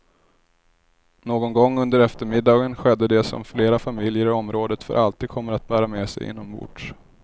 Någon gång under eftermiddagen skedde det som flera familjer i området för alltid kommer att bära med sig inombords.